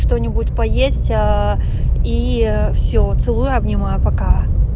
что-нибудь поесть а и все целую обнимаю пока